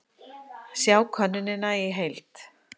Sjá könnunina í heild